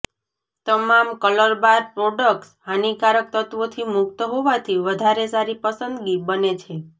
તમામ Colorbar products હાનિકારક તત્ત્વોથી મુક્ત હોવાથી વધારે સારી પસંદગી બને છે